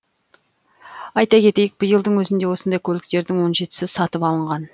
айта кетейік биылдың өзінде осындай көліктердің он жетісі сатып алынған